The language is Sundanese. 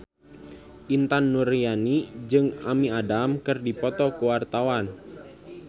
Intan Nuraini jeung Amy Adams keur dipoto ku wartawan